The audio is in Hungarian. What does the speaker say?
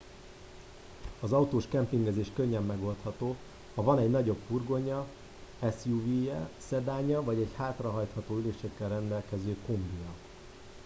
az autós kempingezés könnyen megoldható ha van egy nagyobb furgonja suv je szedánja vagy egy hátrahajtható ülésekkel rendelkező kombija